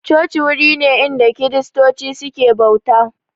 Coci wuri idan kiristoci suke bauta